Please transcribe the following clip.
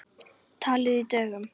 Talið í dögum.